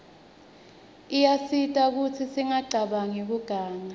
iyasita kutsi singacabanq kiuganga